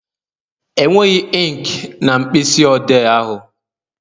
Enweghị inki na mkpịsị odee ahụ